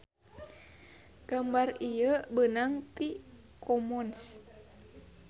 Gambar ieu beunang ti commons.